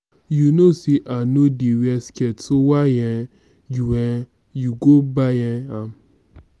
you know say i no dey wear skirt so why um you um you go buy um am